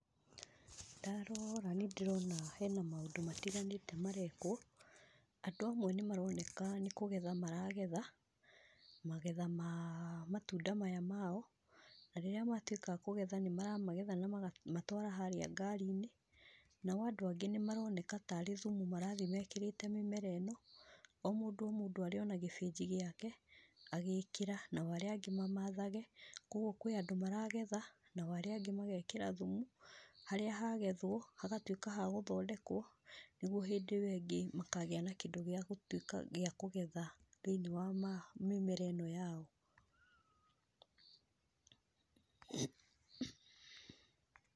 Ndarora nĩndĩrona hena maũndũ matiganĩte marekwo, andũ amwe nĩmaroneka nĩkũgetha maragetha, magetha ma matunda maya mao, na rĩrĩa matwĩka a kũgetha nĩmaramagetha nama gatwara harĩa ngari-inĩ, nao andũ angĩ nĩmaroneka tarĩ thumu marathi mekĩrĩte mĩmera ĩno, o mũndũ o mũndũ arĩ ona gĩbĩnji gĩake, agĩkĩra, nao arĩa angĩ mamathage, koguo kũrĩ andũ maragetha, nao arĩa angĩ magekĩra thumu, harĩa hagethwo, hagatwĩka hagũthondekwo, nĩguo hĩndĩ ĩwe ingĩ, makagĩa na kĩndũ gĩa gũtwĩka gĩa kúgetha thĩ-inĩ wa ma mĩmera ĩno yao.